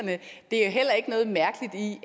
en